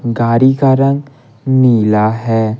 गाड़ी का रंग नीला है।